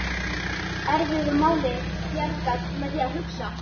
Erfiðu máli bjargað með því að hugsa